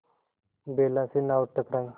बेला से नाव टकराई